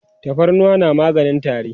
tafarnuwa na maganin tari